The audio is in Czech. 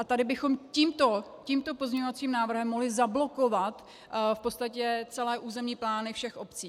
A tady bychom tímto pozměňovacím návrhem mohli zablokovat v podstatě celé územní plány všech obcí.